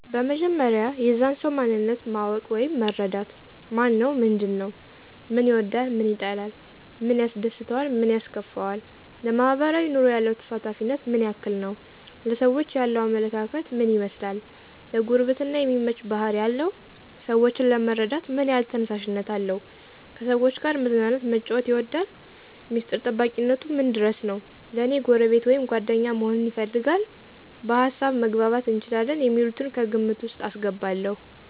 በመጀመሪያ የዛን ሰዉ ማንነት ማወቅ ወይም መረዳት። ማነው ምንድን ነዉ፦ ምን ይወዳል ምን ይጠላል፣ ምን ያስደስተዋል ምን ያስከፈዋል፣ ለማሕበራዊ ኑሮ ያለው ተሳታፊነት ምን ያክል ነዉ፣ ለሰዎች ያለዉ አመለካከት ምን ይመስላል፣ ለጉርብትና የሚመች ባሕሪ አለው ?ሰወችን ለመርዳት ምን ያሕል ተነሳሽነት አለው፣ ከሰዎች ጋር መዝናናት መጫወት ይወዳል፣ ሚስጥር ጠባቂነቱ ምን ድረስ ነዉ፣ ለኔ ጎረቤት ወይም ጓደኛ መሆንን ይፈልጋል፣ በሀሳብ መግባባት እንችላለን የሚሉትን ከግምት ዉስጥ አስገባለዉ።